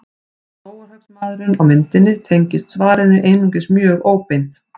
Skógarhöggsmaðurinn á myndinni tengist svarinu einungis mjög óbeint.